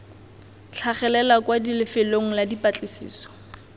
tlhagelela kwa lefelong la dipatlisiso